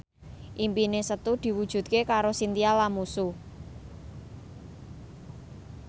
impine Setu diwujudke karo Chintya Lamusu